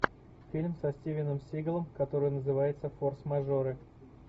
фильм со стивеном сигалом который называется форс мажоры